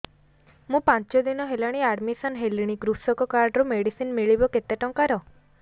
ମୁ ପାଞ୍ଚ ଦିନ ହେଲାଣି ଆଡ୍ମିଶନ ହେଲିଣି କୃଷକ କାର୍ଡ ରୁ ମେଡିସିନ ମିଳିବ କେତେ ଟଙ୍କାର